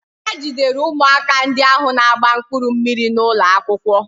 Ha jidere ụmụaka ndị ahụ na-agba mkpụrụ mmiri n'ụlọ akwụkwọ.